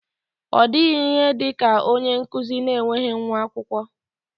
Ọ dịghị ihe dị ka onye nkụzi na-enweghị nwa akwụkwọ.